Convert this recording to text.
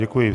Děkuji.